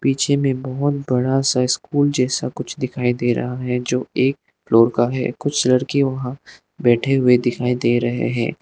पीछे में बहोत बड़ा सा स्कूल जैसा कुछ दिखाई दे रहा है जो एक फ्लोर का है कुछ लड़के वहां बैठे हुए दिखाई दे रहे हैं।